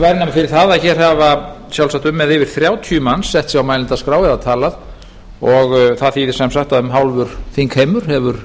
fyrir það að hér hafa sjálfsagt um eða yfir þrjátíu manns sett sig á mælendaskrá eða talað og það þýðir sem sagt að um hálfur þingheimur hefur